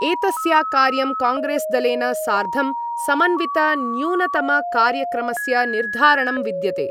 एतस्या कार्यं कांग्रेस्दलेन सार्धं समन्वितन्यूनतमकार्यक्रमस्य निर्धारणं विद्यते।